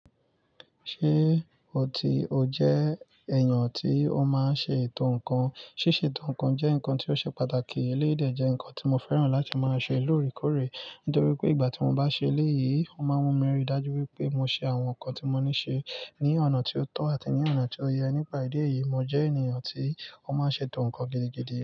Ṣé ò ti o jẹ́ èèyàn ti ó máa n ṣe ètò ǹnkan? Síse ètò ǹnkan jẹ́ ǹnkan tí ó ṣe pàtàkì. Éléyii dè jẹ́ ǹnkan tí mo fẹ́ràn láti máa ṣe lóòrèkóòrè nítorí pé ìgbà tí mo bá ṣe eléyìí, ó máa ń mú mi rí i dájú wípé mo ṣe àwọn ǹkan tí mo ní ṣe ní ọ̀nà tí ó tọ́ àti ní ọ̀nà tí ó yẹ. Nípa ìdí èyí, mo jẹ́ ènìyàn tí ó máa n ṣe ètò ǹkan gidigidi.